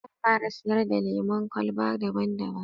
Zan fara siyar da lemon kwalba daban daban